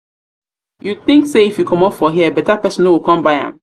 you think say if you commot for here better person no go come buy am?